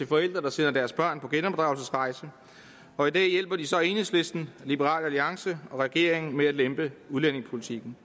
forældre der sender deres børn på genopdragelsesrejse og i dag hjælpe de så enhedslisten liberal alliance og regeringen med at lempe udlændingepolitikken